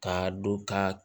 Ka dɔ k'a